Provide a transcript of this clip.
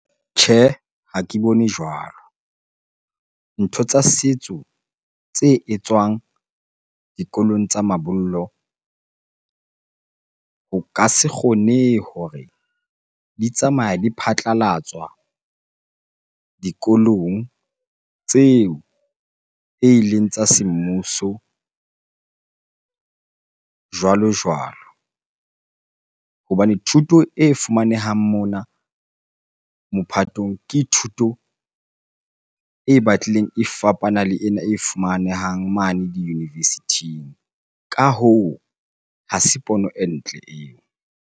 Tjhehe, ha ke bone jwalo. Ntho tsa setso tse etswang dikolong tsa mabollo, ho ka se kgonehe hore di tsamaya di phatlalatswa dikolong tseo eleng tsa semmuso jwalo-jwalo. Hobane thuto e fumanehang mona mophatong, ke thuto e batlileng e fapana le ena e fumanehang mane di-university-ing. Ka hoo, ha se pono e ntle eo.